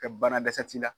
Ka bana dɛsɛ t'i la